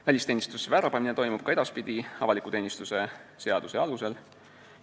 Välisteenistusse värbamine toimub ka edaspidi avaliku teenistuse seaduse alusel.